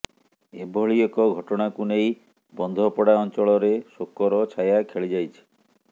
ଏଭଳି ଏକ ଘଟଣାକୁ ନେଇ ବନ୍ଧପଡା ଅଂଚଳରେ ଶୋକର ଛାୟା ଖେଳିଯାଇଛି